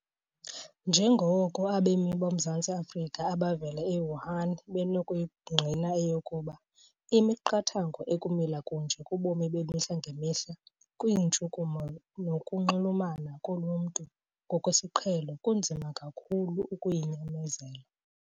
Njengoko abemi boMzantsi Afrika abavela e-Wuhan benokuyingqina eyokuba, imiqathango ekumila kunje kubomi bemihla ngemihla, kwiintshukumo nokunxulumana koluntu ngokwesiqhelo kunzima kakhulu ukuyinyamezela.